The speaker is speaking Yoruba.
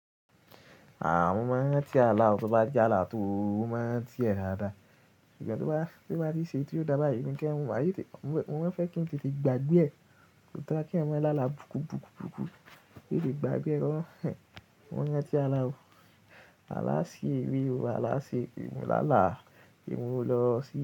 À, mo máa ń rántí àlà o, tó bá j'álà tó, mo máa ń rántí ẹ̀ dáadáa. Ṣùgbọ́n tó bá ti ṣe éyii tí ó dába yìí, èmi gan máa tètè, mo mo ń fẹ́ kí n tètè gbàgbé ẹ̀, kò dára kí èèyàn má lálà burúkú, burúkú, burúkú, kí n lè gbàgbé ẹ̀. Mo ń rántí àlà o. Àlà sí èrè o, àlà sí ere mo làlà, pé mo lọ sí.